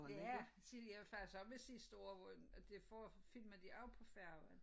Det er tidligere jeg var faktisk også med sidste år hvor og det får filmede de også på færgen